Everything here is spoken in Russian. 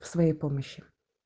с моей помощью